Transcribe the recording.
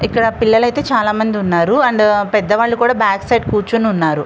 ఇక్కడ పిల్లలయితే చాలామంది ఉన్నారు. అండ్ పెద్ద వాళ్లు కూడా బ్యాక్ సైడ్ కూర్చొని ఉన్నారు.